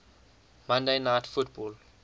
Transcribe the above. monday night football